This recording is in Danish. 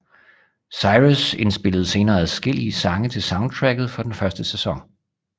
Cyrus indspillede senere adskillige sange til soundtracket for den første sæson